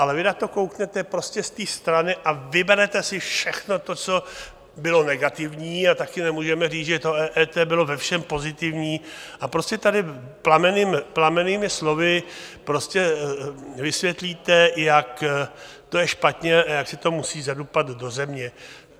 Ale vy na to kouknete prostě z té strany a vyberete si všechno to, co bylo negativní, a taky nemůžeme říct, že to EET bylo ve všem pozitivní, a prostě tady plamennými slovy prostě vysvětlíte, jak to je špatně a jak se to musí zadupat do země.